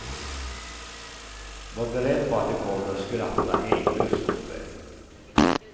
Var beredd på att de kommer att skratta hejdlöst åt dig.